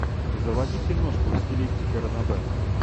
заводи киношку в стилистике ранобэ